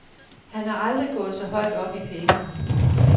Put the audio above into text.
Han er aldrig gået så højt op i penge.